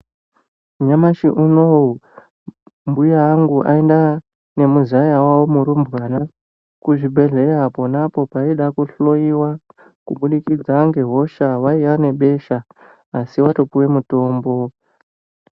Nyamashi unowu mbuya angu aenda nemuzaya wawo murumbwana kuzvibhedhleya ponapo paida kuhloiwa kubudikidza ngehosha vaiya nebesha asi watopuwe mutombo.